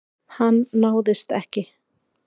Hann náðist ekki.